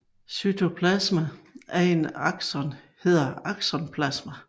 Cytoplasma af en akson hedder aksoplasma